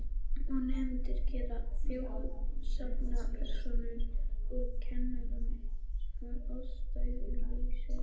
Og nemendur gera þjóðsagnapersónur úr kennurum að ástæðulausu.